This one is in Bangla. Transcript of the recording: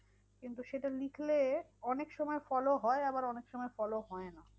কিন্তু সেটা লিখলে অনেক সময় follow হয় আবার অনেকসময় follow হয় না।